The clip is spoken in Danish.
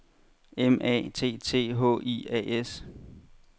M A T T H I A S